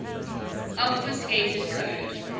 obfuscated code